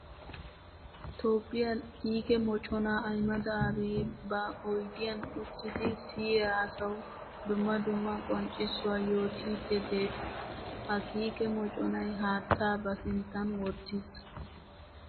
Toophiya kiike moconna Ahmeda Abiy ba oyddiyan uttiddi siyiya asawu dumma dumma qonccissuwa yootidde de'ees. Ha kiike moconay haatta ba sinttan wottiis.